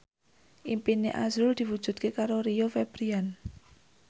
impine azrul diwujudke karo Rio Febrian